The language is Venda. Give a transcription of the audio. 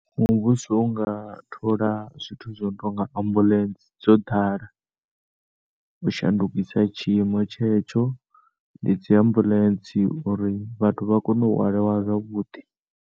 Muvhuso u nga thola zwithu zwo no tonga ambulance dzo ḓala u shandukisa tshiimo tshetsho ndi dzi ambulance uri vhathu vhakone u hwaliwa zwavhuḓi.